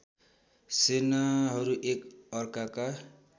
सेनाहरू एक अर्काका